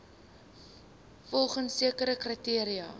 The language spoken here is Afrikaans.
volgens sekere kriteria